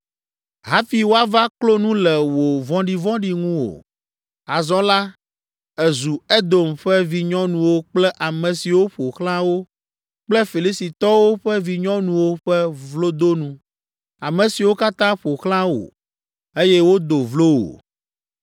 hafi woava klo nu le wò vɔ̃ɖivɔ̃ɖi ŋu o. Azɔ la, èzu Edom ƒe vinyɔnuwo kple ame siwo ƒo xlã wo kple Filistitɔwo ƒe vinyɔnuwo ƒe vlodonu, ame siwo katã ƒo xlã wò, eye wodo vlo wò.